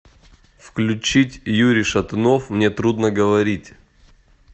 включить юрий шатунов мне трудно говорить